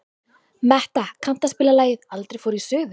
Metta, kanntu að spila lagið „Aldrei fór ég suður“?